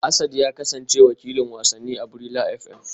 Asad ya kasance wakilin wasanni a Brila FM